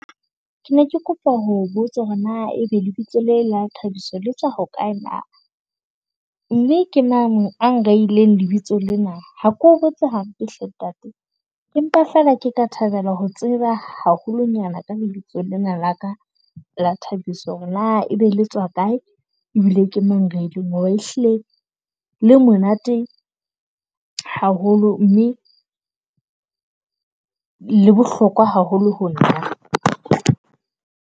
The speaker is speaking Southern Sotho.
Ke ne ke kopa ho botsa hore na e be lebitso le la Thabiso le tswa ho kae na. Mme ke mang a nthehileng lebitso lena. Ha ke o botse hampe hle ntate, empa feela ke ka thabela ho tseba haholonyana ka lebitso lena la ka la Thabiso. Hore na e be le tswa kae, ebile ke mang a nrehileng hobane ehlile le monate haholo, mme le bohlokwa haholo ho nna.